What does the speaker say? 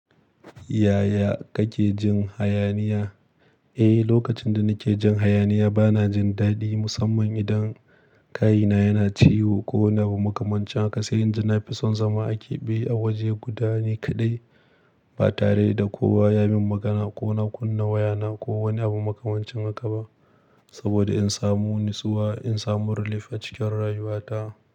Yaya kake jin hayaniya? Eh, lokacin da nake jin hayaniya bana jin dadi musamman idan kayina yana ciwo ko ina da makamancin haka sai in ji na fi son zama a keɓe a waje guda ni kaɗai ba tare da kowa ya min magana ko na kunna wayana ko wani abu makamancin haka ba. Saboda in samu nitsuwa, in samu relief a cikin rayuwata.